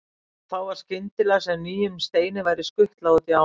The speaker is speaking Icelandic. Og þá var skyndilega sem nýjum steini væri skutlað út í ána.